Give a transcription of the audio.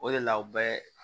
O de la u bɛɛ